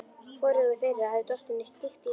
Hvorugu þeirra hafði dottið neitt slíkt í hug.